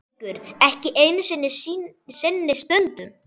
Haukur: Ekki einu sinni stundum?